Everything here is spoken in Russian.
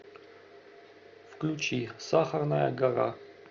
включи сахарная гора